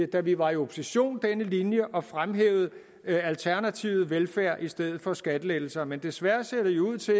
da vi var i opposition denne linje og fremhævet alternativet med velfærd i stedet for skattelettelser men desværre ser det ud til